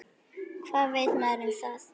Hvað veit maður um það?